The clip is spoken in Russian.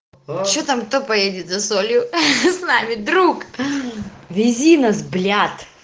че там кто поедет за солью с нами друг вези нас блят